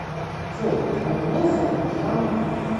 джой а меня зовут жанна